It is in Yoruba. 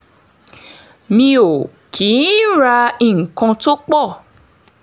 mi ò kì í ra nǹkan tó pọ̀